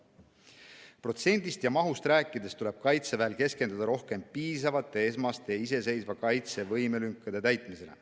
Protsentidest ja mahust rääkides tuleb Kaitseväel keskenduda rohkem esmaste iseseisva kaitse võimelünkade täitmisele.